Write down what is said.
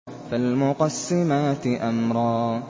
فَالْمُقَسِّمَاتِ أَمْرًا